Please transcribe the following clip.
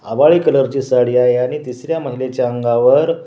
हवाळी colour ची साडी आहे आणि तिसऱ्या महिलाच्या अंगावर--